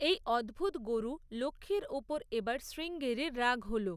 এই অদ্ভুত গরু লক্ষ্মীর ওপর এবার শ্রীঙ্গেরির রাগ হল।